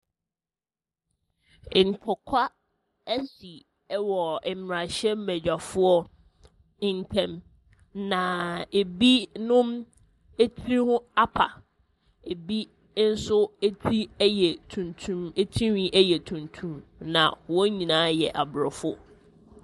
Ntɔkwa asi wɔ mmarahyɛbadwafoɔ ntam. Naaaa ɛbinom tiri ho apa. Ɛbi nso ti yɛ tuntum tirinwi yɛ tuntum, na wɔn nyinaa yɛ aborɔfo.